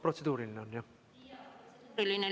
Protseduuriline on, jah?